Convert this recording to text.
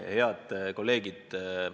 Head kolleegid!